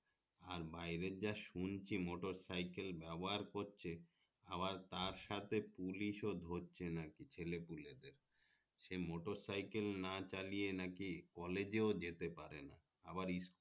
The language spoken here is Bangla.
আর বাইরে যা শুনছি মোটরসাইকেল ব্যবহার করছে আবার তার সাথে পুলিশ ও ধরছে নাকি ছেলে পুলে দেরকে সে মোটরসাইকেল না চালিয়ে নাকি college এ যেতে পারে না আবার